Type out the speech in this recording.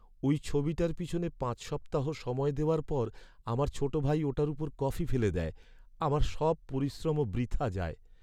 ওই ছবিটার পিছনে পাঁচ সপ্তাহ সময় দেওয়ার পর আমার ছোট ভাই ওটার ওপর কফি ফেলে দেয়। আমার সব পরিশ্রমও বৃথা যায়।